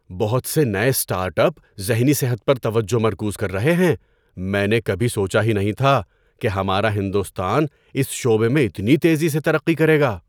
بہت سے نئے اسٹارٹ اپ ذہنی صحت پر توجہ مرکوز کر رہے ہیں! میں نے کبھی سوچا ہی نہیں تھا کہ ہمارا ہندوستان اس شعبے میں اتنی تیزی سے ترقی کرے گا۔